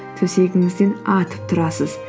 төсегіңізден атып тұрасыз